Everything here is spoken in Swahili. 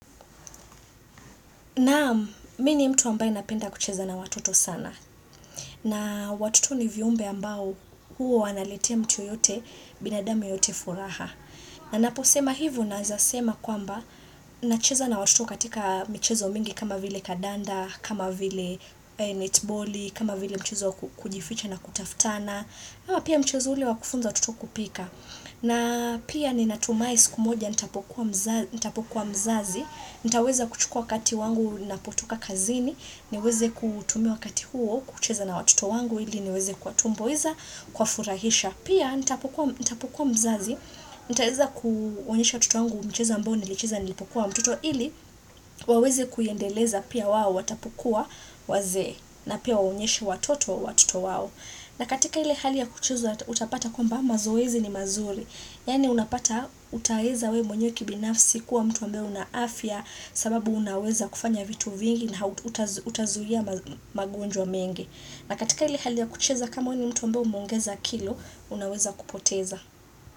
Naam, mii ni mtu ambaye napenda kucheza na watoto sana. Na watoto ni viumbe ambao huwa wanaletea mtu yote, binadamu yeyote furaha. Na naposema hivu, naezasema kwamba, nacheza na watoto katika michezo mingi kama vile kadanda, kama vile netboli, kama vile mchezo wa kujificha na kutaftana. Ama pia mchezo ule wakufunza watoto kupika. Na pia ni natumahi siku moja, nita pokuwa mzazi, nitaweza kuchukua kati wangu na potoka kazini niweze kutumia wakati huo kucheza na watoto wangu ili niweze kuwatumbuiza kuwa furahisha Pia nitapokua mzazi nitaweza kuonyesha watoto wangu mchezo ambo nilicheza nilipokuwa mtoto ili waweze kuyaendeleza pia wao Watapokua wazee na pia waonyeshe watoto wa watoto wao na katika ile hali ya kucheza utapata kwamba mazoezi ni mazuri Yaani unapata utaeza wee mwenye kibinafsi kuwa mtu ambaye unaafya sababu unaweza kufanya vitu vingi na utazuia magonjwa mengi. Na katika ile hali ya kucheza kama wee ni mtu ambaye umeongeza kilo, unaweza kupoteza.